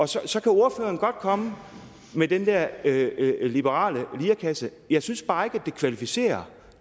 så så kan ordføreren godt komme med den der liberale lirekasse jeg synes bare ikke at det kvalificerer